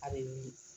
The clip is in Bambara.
A bɛ